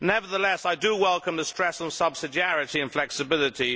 Nevertheless, I do welcome the stress on subsidiarity and flexibility.